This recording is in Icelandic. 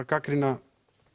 gagnrýna